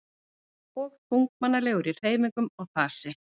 Og þunglamalegur í hreyfingum og fasi.